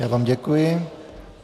Já vám děkuji.